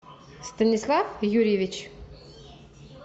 станислав юрьевич